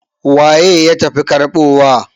waye ya tafi karbowa?